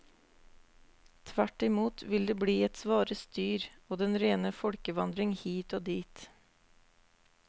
Tvertimot vil det bli et svare styr og den rene folkevandring hit og dit.